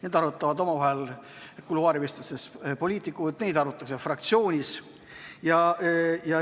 Neid arutavad omavahel kuluaarivestlustes poliitikud, neid arutatakse fraktsioonis.